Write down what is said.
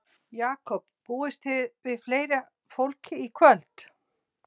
Jakob, búist þið við fleira fólki í kvöld?